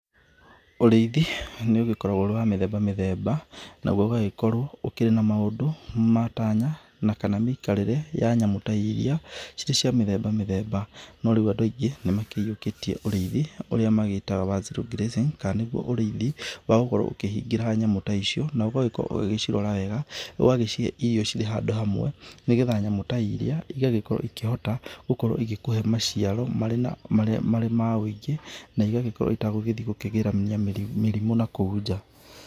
Ũrĩithi nĩ ũgĩkoragwo wĩ wa mĩthemba mĩthemba, naguo ũgagĩkorwo wĩna maũndũ, matanya na kana mĩikarĩre ya nyamũ ta iria cirĩ cia mĩthemba mĩthemba. No rĩu andũ aingĩ nĩ maiyũkĩtie ũrĩithi ũrĩa magĩtaga wa zero grazing kana nĩguo ũrĩithi wa gũkorwo ũkĩhingĩra nyamũ ta icio, na ũgakorwo ũgĩcirora wega, ũgacihe irio ciĩ handũ hamwe, nĩgetha nyamũ ta iria ĩgakĩhota gũkorwo ĩgĩkũhe maciaro marĩ ma ũingĩ, na igagĩkorwo itagũgĩthiĩ kũgĩrania mĩrimũ na kũu nja.